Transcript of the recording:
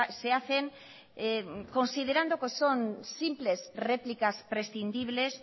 se hacen considerando que son simples réplicas prescindibles